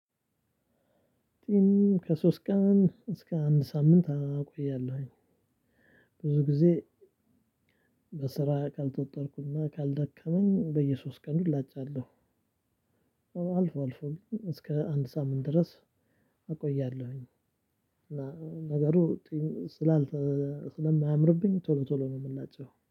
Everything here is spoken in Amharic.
ከሶስት ቀን እስከ አንድ ሳምንት አቆያለሁኝ። ብዙ ጊዜ በስራ ካልተወጠርኩና ካልደከመኝ በየሶስት ቀኑ ዐላጫለሁ። አልፎ እስከ አንድ ሳምንት ድረስ አቆያለሁኝ። ነገሩ ስለማያምርብኝ ቶሎ ቶሎ ነው የምላጨው